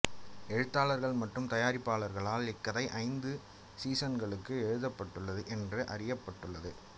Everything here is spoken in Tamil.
எழுத்தாளர்கள் மற்றும் தயாரிப்பாளர்களால் இக்கதை ஐந்து சீசன்களுக்கு எழுதப்பட்டுள்ளது என்று அறிவிக்கப்பட்டுள்ளது